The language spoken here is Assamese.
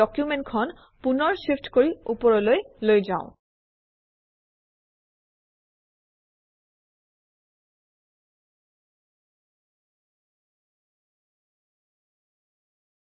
ডকুমেণ্টখন পুনৰ shift কৰি ওপৰলৈ লৈ যাওঁ আহক